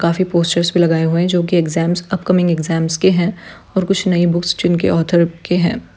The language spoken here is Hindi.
काफी पोस्टर्स भी लगाए हुए हैं जो की एक्जाम्स अप-कमिंग एक्जाम्स के हैं और कुछ नई बुक्स जिनके ऑथर के हैं।